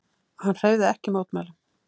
Hann hreyfði ekki mótmælum.